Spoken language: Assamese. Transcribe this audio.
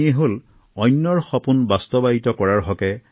কালি মই তেওঁক সাক্ষাতৰ সুযোগ লাভ কৰিলো